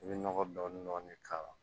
I bɛ nɔgɔ dɔɔni dɔɔni k'a la